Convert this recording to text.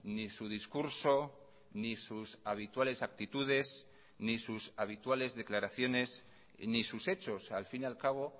ni su discurso ni sus habituales actitudes ni sus habituales declaraciones ni sus hechos al fin y al cabo